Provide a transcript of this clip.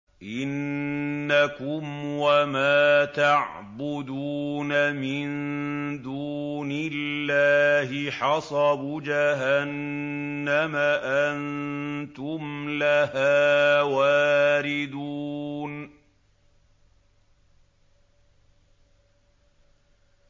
إِنَّكُمْ وَمَا تَعْبُدُونَ مِن دُونِ اللَّهِ حَصَبُ جَهَنَّمَ أَنتُمْ لَهَا وَارِدُونَ